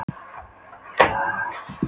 Nálin bendir í hörðustu átt en þaðan komstu